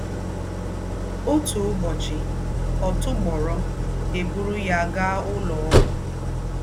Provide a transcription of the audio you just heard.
Òtú ùbọ́chì, ọ̀ tùbórò, è bùrù yá gaá úlọ́ ógwù.